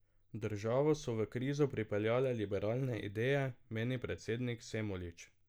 Državo so v krizo pripeljale liberalne ideje, meni predsednik Semolič.